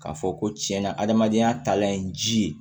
K'a fɔ ko tiɲɛna adamadenya talan ye ji ye